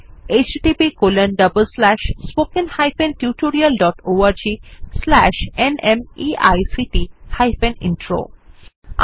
httpspoken tutorialorgNMEICT Intro আমি অন্তরা এই tutorial টি অনুবাদ এবং রেকর্ড করেছি